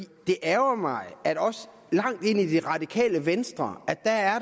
det ærgrer mig at der også langt ind i det radikale venstre